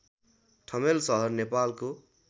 ठमेल सहर नेपालको